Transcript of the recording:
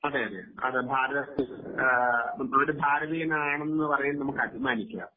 അതേ അതേ ഭാരതത്തിൽ ഒരു ഭാരതീയൻ ആണ് എന്നു പറയാൻ നമുക്ക് അഭിമാനിക്കാം